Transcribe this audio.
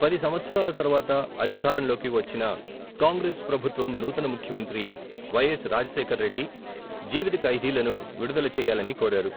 పది సంవత్సరాల తరువాత అధికారంలోకి వచ్చిన, కాంగ్రెస్ ప్రభుత్వం నూతన ముఖ్యమంత్రి వైఎస్ రాజశేఖరరెడ్డి, జీవిత ఖైదీలను విడుదల చెయ్యాలని కోరారు.